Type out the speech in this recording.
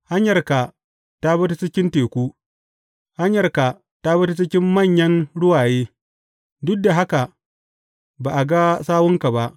Hanyarka ta bi ta cikin teku, hanyarka ta bi cikin manyan ruwaye, duk da haka ba a ga sawunka ba.